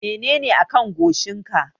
Menene a kan goshin ka?